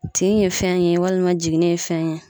Tin ye fɛn ye walima jiginin ye fɛn ye